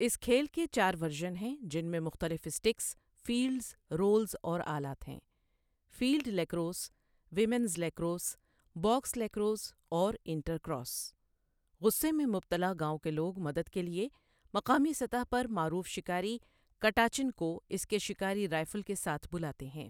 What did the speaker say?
اس کھیل کے چار ورژن ہیں جن میں مختلف اسٹکس، فیلڈز، رولز اور آلات ہیں field lacrosse, women's lacrosse, box lacrosse اور انٹرکراس غصے میں مبتلا گاوٴں کے لوگ مدد کے لیے مقامی سطح پر معروف شکاری کٹاچن کو اس کے شکاری رائفل کے ساتھ بلاتے ہیں۔